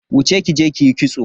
Wuce kije kiyi kitso.